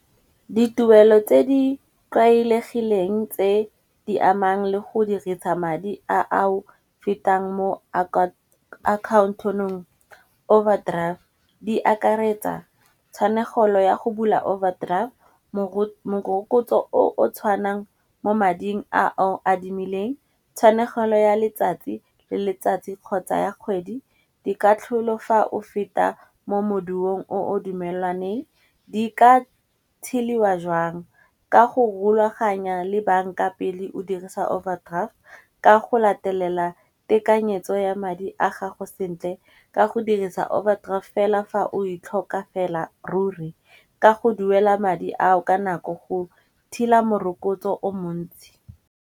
Dituelo tse di tlwaelegileng tse di amang le go dirisa madi a o fetang mo account-ong overdraft. Di akaretsa tshwanegelo ya go bula overdraft morokotso o o tshwanang mo mading a o a adimileng, tshwanelo ya letsatsi le letsatsi kgotsa ya kgwedi. Di ka tlholofa o feta mo moduong o o dumelaneng. Di ka tsheliwa jwang ka go rulaganya le banka pele o dirisa overdraft, ka go latelela tekanyetso ya madi a gago sentle, ka go dirisa overdraft fela fa o e tlhoka fela ruri ka go duela madi ao ka nako go thila morokotso o montsi.